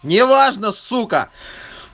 неважно сука